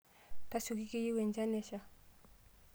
Tasioki keyieu enchan nesha.